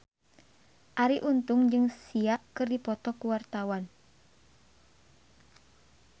Arie Untung jeung Sia keur dipoto ku wartawan